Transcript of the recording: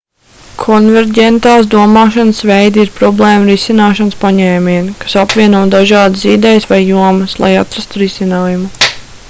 konverģentās domāšanas veidi ir problēmu risināšanas paņēmieni kas apvieno dažādas idejas vai jomas lai atrastu risinājumu